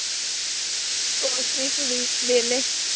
ਕੁਸ਼ ਨੀ ਬਸ ਵਿਹਲੇ।